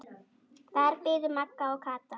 Þar biðu Magga og Kata.